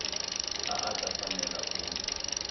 a a ta fanela ku